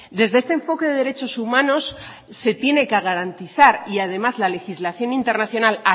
desde este enfoque de derechos humanos se tienen que garantizar y además la legislación internacional